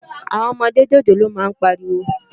Áwòn òmòdé jójólóò má n párìwó